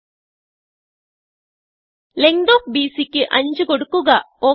okay length of ബിസി5 ക്ക് കൊടുക്കുക